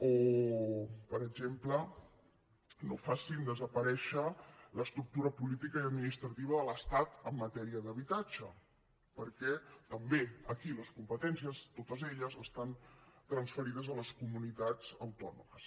o per exemple que no facin desaparèixer l’estructura política i administrativa de l’estat en matèria d’habitatge perquè també aquí les competències totes estan transferides a les comunitats autònomes